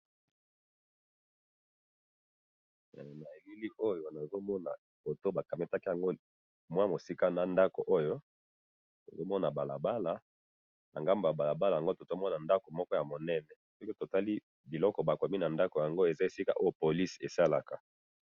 Na elili oyo nazomona, foto bakamataki yango ,wamosika na ndako oyo, nazomona balabala, nangambo yabalabala yango tozomona ndako moko yamunene, soki totali biloko bakomi nandako yango eza esika oyo police esalaka.